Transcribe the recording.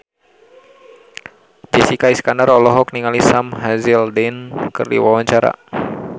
Jessica Iskandar olohok ningali Sam Hazeldine keur diwawancara